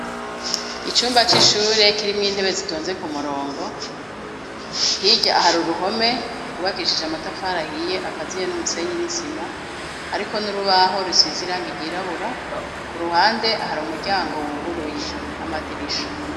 Icumba c'ishure kirimwo intebe zitonze ku murongo, hirya hari uruhome rwubakishije amatafari ahiye akaziye n'umusenyi n'isima hariko n'urubaho rusize irangi ryirabura, ku ruhande hari umuryango wuguruye n'amadirisha.